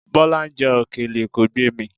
Bọ́lá ń jẹ òkèlè, kò gbé e mì.